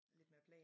Lidt mere plan